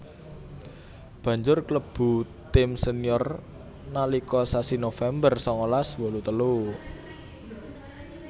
Banjur klebu tim senior nalika sasi November sangalas wolu telu